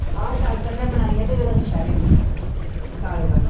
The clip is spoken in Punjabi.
ਆਹੋ doctor ਨੇ ਬਣਾਈਆਂ ਤੇ ਜਿਹੜਾ ਸ਼ਹਿਰੇ ਆਉਂਦਾ ਬਟਾਲੇ ਵਾਲਾ